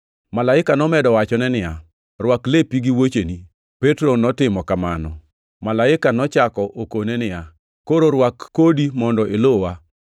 Malaika nomedo wachone niya, “Rwak lepi gi wuocheni.” Petro notimo kamano. Malaika nochako okone niya, “Koro rwak kodi mondo iluwa!”